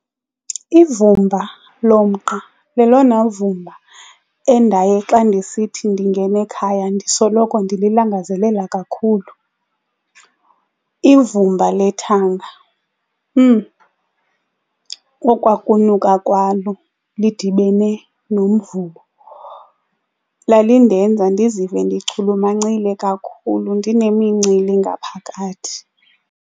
Ivumba lomqa lelona vumba endaye xa ndisithi ndingena ekhaya ndisoloko ndililangazelela kakhulu. Ivumba lethanga okwa kunuka kwalo lidibene nomvubo, lalindenza ndizive ndichulumancile kakhulu ndinemincili ngaphakathi.